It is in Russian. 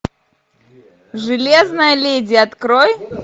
железная леди открой